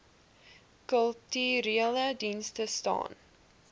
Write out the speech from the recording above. kulturele dienste staan